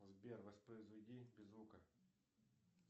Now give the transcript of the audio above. сбер воспроизведи без звука